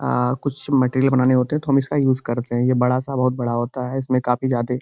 आ कुछ मैटेरियल बनाने होते है तो हम इसका युज करते हैं। ये बड़ा-सा बहोत बड़ा होता है। इसमें काफी ज्यादे --